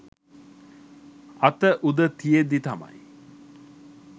අත උද තියෙද්දී තමයි